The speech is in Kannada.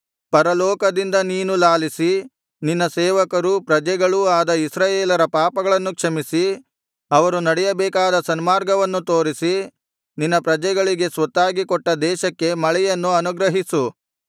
ಪರಲೋಕದಿಂದ ನೀನು ಲಾಲಿಸಿ ನಿನ್ನ ಸೇವಕರು ಪ್ರಜೆಗಳೂ ಆದ ಇಸ್ರಾಯೇಲರ ಪಾಪಗಳನ್ನು ಕ್ಷಮಿಸಿ ಅವರು ನಡೆಯಬೇಕಾದ ಸನ್ಮಾರ್ಗವನ್ನು ತೋರಿಸಿ ನಿನ್ನ ಪ್ರಜೆಗಳಿಗೆ ಸ್ವತ್ತಾಗಿ ಕೊಟ್ಟ ದೇಶಕ್ಕೆ ಮಳೆಯನ್ನು ಅನುಗ್ರಹಿಸು